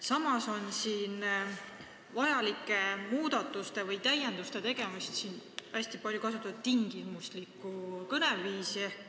Samas on muudatuste või täienduste tegemisel hästi palju kasutatud tingimuslikku kõneviisi.